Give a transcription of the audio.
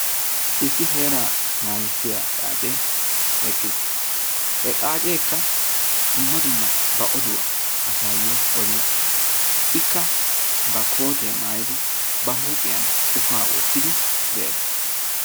Issi heera naagissiya xaacce eqqiis. He xaaceekka dumma dumma ba oduwa asayo odiidi de'ees. Ikka ba kootiya maayidi ba huuphphiyan ufaa wottidi de'ees.